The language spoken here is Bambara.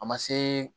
A ma se